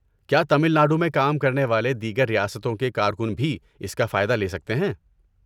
کیا تمل ناڈو میں کام کرنے والے دیگر ریاستوں کے کارکن بھی اس کا فائدہ لے سکتے ہیں؟